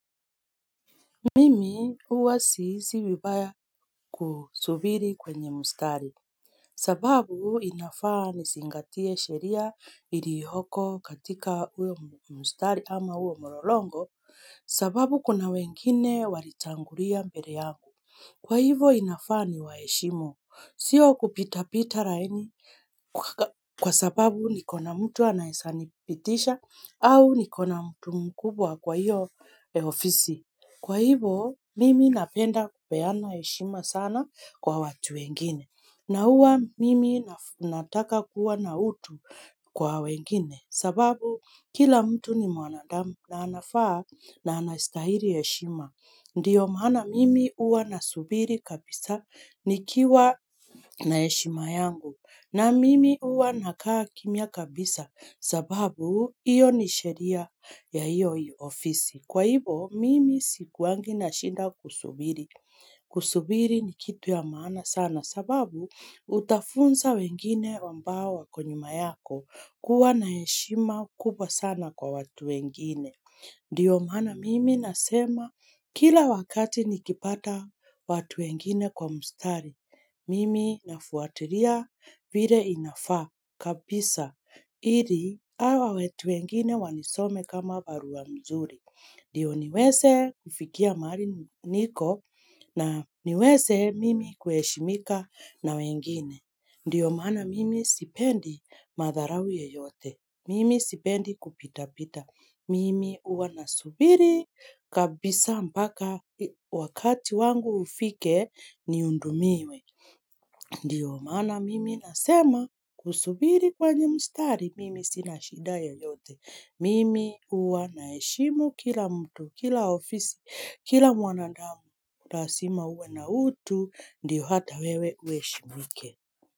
Mimi uwa sihisi vibaya kusubiri kwenye mustari. Sababu inafaa nizingatie sheria ilioyoko katika uyo mustari ama uyo mololongo, sababu kuna wengine walitangulia mbele yangu. Kwa hivo inafaa ni waheshimu, sio kupita pita laini kwa sababu nikona mtu anaezanipitisha au nikona mtu mkubwa kwa hiyo ofisi. Kwa hivo, mimi napenda kupeana heshima sana kwa watu wengine. Na uwa, mimi nataka kuwa na utu kwa wengine. Sababu, kila mtu ni mwanadamu na anafaa na anastahiri heshima. Ndiyo mana mimi uwa nasubiri kabisa nikiwa na heshima yangu. Na mimi uwa nakaa kimia kabisa sababu, iyo ni sheria ya iyo ofisi. Kwa hivo, mimi sikuangi na shida kusubiri. Kusubiri ni kitu ya maana sana sababu utafunza wengine ambao wako nyuma yako kuwa na heshima kubwa sana kwa watu wengine. Ndiyo mana mimi nasema kila wakati nikipata watu wengine kwa mstari. Mimi nafuatiria vile inafaa kabisa. Ili hawa wetu wengine wanisome kama barua mzuri. Ndiyo niweze kufikia mahali niko na niweze mimi kuheshimika na wengine. Ndio maana mimi sipendi madharau yoyote. Mimi sipendi kupita pita. Mimi uwa nasubiri kabisa mpaka wakati wangu ufike niundumiwe. Ndiyo mana mimi nasema kusubiri kwenye mustari, mimi sina shida yoyote Mimi ua naheshimu kila mtu, kila ofisi, kila mwanadamu. Lazima uwe na utu, ndio hata wewe ueshimike.